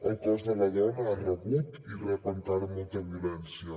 el cos de la dona ha rebut i rep encara molta violència